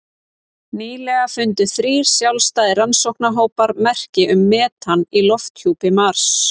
Nýlega fundu þrír sjálfstæðir rannsóknarhópar merki um metan í lofthjúpi Mars.